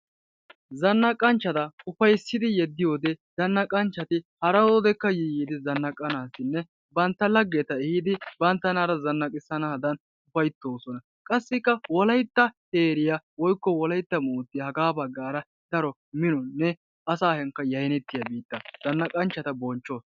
Zannaqanchchata ufayssidi yeddiyoode zanaqqanchchati haroodekka yii yiidi zannaqanassinne bantta laggeta ehiidi banttanaara zanaqqissanadan ufayttoosona. Qassikka Wolayttaa heeriyaa woykko Wolaytta moortiya haga baggara daro minonne asaakka yaynneriya biittaa zannaqanchchata bonchchawus.